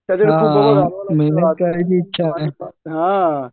सगळे खूप हा